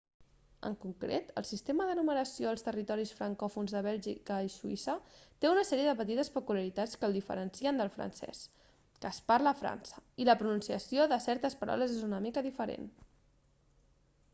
en concret el sistema de numeració als territoris francòfons de bèlgica i suïssa té una sèrie de petites peculiaritats que el diferencien del francès que es parla a frança i la pronunciació de certes paraules és una mica diferent